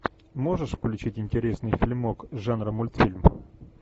можешь включить интересный фильмок жанра мультфильм